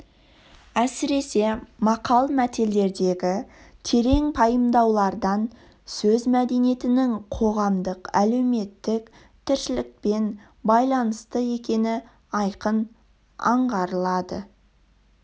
әсіресе мақал-мәтелдердегі терең пайымдаулардан сөз мәдениетінің қоғамдық-әлеуметтік тіршілікпен байланысты екені айқын аңғарылады